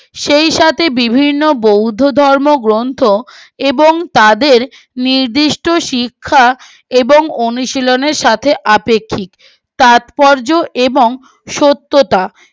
সেই সাথে বিভিন্ন বৌদ্ধ ধর্মগ্রন্থ এবং তাদের নিৰ্দিষ্ট শিক্ষা এবং অনুশীলনের সাথে আপেক্ষিক তাৎপর্য এবং সত্যতা